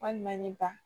Walima ni ba